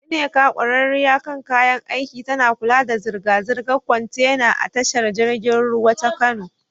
Nneka, ƙwararriya kan kayan aiki, tana kula da zirga-zirgar kwantena a tashar jirgin ruwa ta Kano.